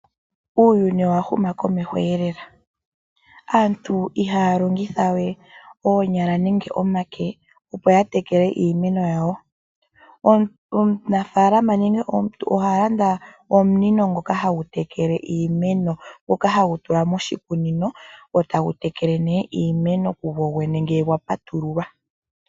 Uuyuni owa huma komeho lela. Aantu ihaya longitha we oonyala nenge omake, opo ya tekele iimeno yawo. Omunafaalama nenge omuntu oha landa omunino ngoka hagu tekele iimeno, ngoka hagu tulwa moshikunino e tagu tekele nduno iimeno kugogwene ngele gwa patululwa.